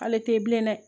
Ale tɛ ye bilen dɛ